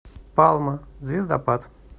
палма звездопад